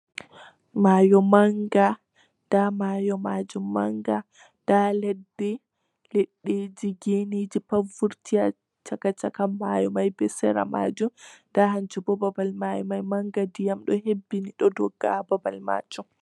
Mayo manga :nda mayo majum manga nda leɗɗi, liɗɗiji, genejipat pat vurti ha chaka chaka mayo mai be sera majum nda hunju bo babal mayo mai manga ndiyam ɗo heɓɓini ha babal majum.